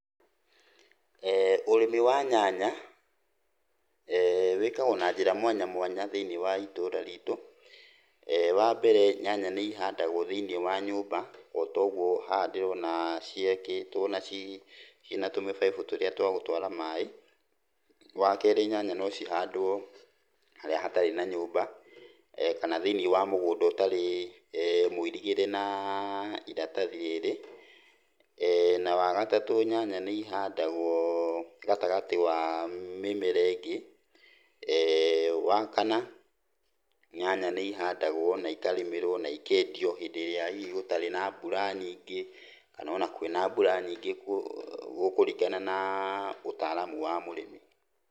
Ũrĩmi wa nyanya wĩkagwo na njĩra mwanya mwanya thĩiniĩ wa itũũra ritũ. Wambere, nyanya nĩ ihandagwo thĩiniĩ wa nyũmba otogwo haha ndĩrona ciakĩtwo na cii, ciina tũmibaibũ tũrĩa twagũtwara maaĩ. Wakerĩ, nyanya no cihandwo harĩa hatarĩ na nyũmba kana thĩiniĩ wa mũgũnda ũtarĩ mũirigĩre na iratathi rĩrĩ. Na wagatatũ, nyanya nĩ ihandagwo gatagati wa mĩmera ingĩ. Wakana, nyanya nĩ ihandagwo na ikarĩmĩrwo na ikendio hĩndĩ ĩrĩa hihi gũtarĩ na mbura nyingĩ kana ona kwĩna mbura nyingĩ, gũkũringana na ũtaramu wa mũrĩmi.